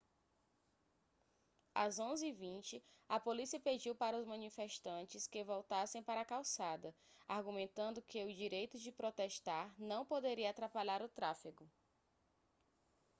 às 11:20 a polícia pediu aos manifestantes que voltassem para a calçada argumentando que o direito de protestar não poderia atrapalhar o tráfego